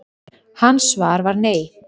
Hans svar var nei.